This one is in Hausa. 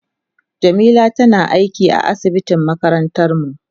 Jamila tana aiki a asibitin makarantar mu.